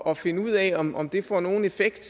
at finde ud af om om det får nogen effekt